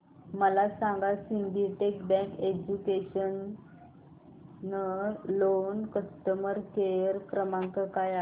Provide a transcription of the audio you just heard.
मला सांगा Syndicate bank educational loan चा कस्टमर केअर क्रमांक काय आहे